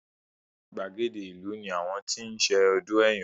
Gbàgede ìlú ní àwọn ti ṣe ọdún Ẹ̀yọ̀.